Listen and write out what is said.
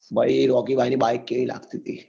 ભાઈ રોકી ભાઈ ની બાઈક કેવી લગતી તી